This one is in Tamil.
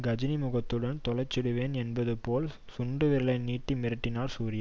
கஜினி முகத்துடன் தொலைச்சுடுவேன் என்பதுபோல் சுண்டு விரலை நீண்டி மிரட்டினார் சூர்யா